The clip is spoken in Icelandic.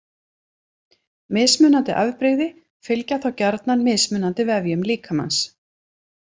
Mismunandi afbrigði fylgja þá gjarnan mismunandi vefjum líkamans.